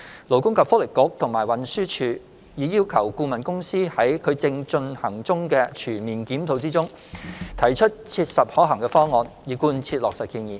勞工及福利局和運輸署已要求顧問公司在其正進行的全面檢討中，提出切實可行方案以貫徹落實建議。